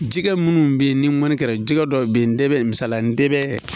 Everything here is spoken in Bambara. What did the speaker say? Jɛgɛ minnu bɛ yen ni mɔni kɛra jɛgɛ dɔw bɛ yen dɛ misaliya nɛ bɛ